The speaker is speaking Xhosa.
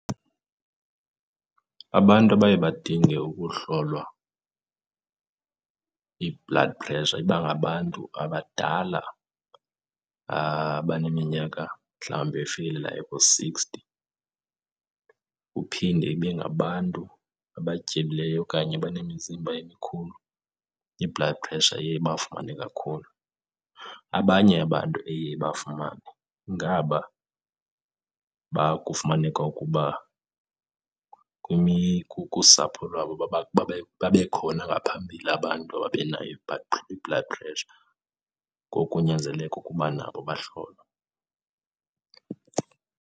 Abantu abaye badinge ukuhlolwa i-blood pressure iba ngabantu abadala abaneminyaka mhlawumbe efikelelayo ku-sixty. Uphinde ibe ngabantu abatyebileyo okanye abanemizimba emikhulu, i-blood pressure iye ibafumane kakhulu. Abanye abantu eye ibafumane ngaba kufumaneka ukuba kusapho lwabo babekhona ngaphambili abantu ababenayo i-blood pressure. Ngoku kunyanzeleke ukuba nabo bahlolwe.